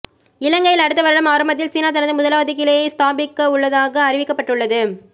இலங்கையில் அடுத்த வருட ஆரம்பத்தில் சீனா தனது முதலாவது கிளையை ஸ்தாபிக்கவுள்ளதாக அறிவிக்கப்பட்டுள்ளது